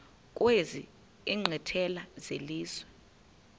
kwezi nkqwithela zelizwe